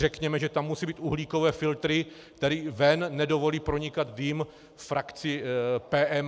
Řekněme, že tam musí být uhlíkové filtry, které ven nedovolí pronikat dýmu frakci PM02.